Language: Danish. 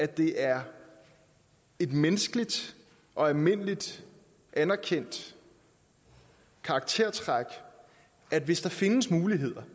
det er et menneskeligt og almindeligt anerkendt karaktertræk at hvis der findes muligheder